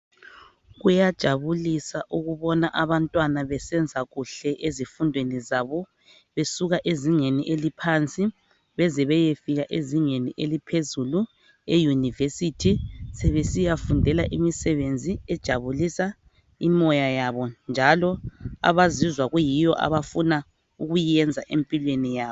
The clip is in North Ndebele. Kuyajabulisa ukubona abantwana besenza kuhle ezifundweni zabo, besuka ezingeni eliphansi beze beyefika ezingeni eliphezulu eyunivesithi. Sebesiyafundela imisebenzi ejabulisa imoya yabo njalo abazizwa kuyiyo abafuna ukuyenza empilweni yabo.